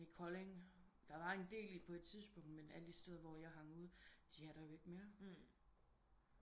I Kolding der var en del på et tidspunkt men alle de steder hvor jeg hang ud de er der jo ikke mere